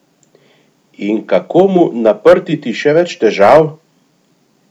In kako mu naprtiti še več težav?